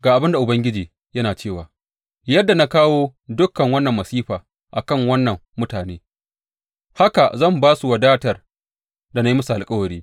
Ga abin da Ubangiji yana cewa, yadda na kawo dukan wannan masifa a kan wannan mutane, haka zan ba su wadatar da na yi musu alkawari.